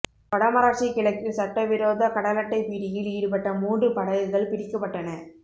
வடமராட்சி கிழக்கில் சட்டவிரோத கடலட்டை பிடியில் ஈடுபட்ட மூன்று படகுகள் பிடிக்கப்பட்டன